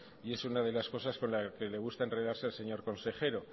y es una de las cosas con las que le gusta enredarse al señor consejero